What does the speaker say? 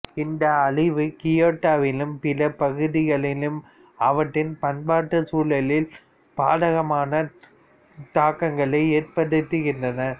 இந்த அழிவு கியோட்டோவிலும் பிற பகுதிகளிலும் அவற்றின் பண்பாட்டுச் சூழலில் பாதகமான தாக்கங்களை ஏற்படுத்துகின்றன